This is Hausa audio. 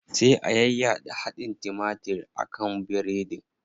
Sai a yayyaɗa hadin timatir a kan biredin.